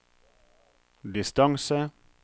distance